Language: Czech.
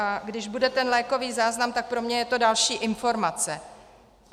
A když bude ten lékový záznam, tak pro mě je to další informace.